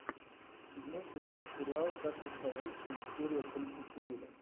седьмой сезон сериал как я стал русским серия тридцать четыре